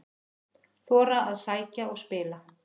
Þora að sækja og spila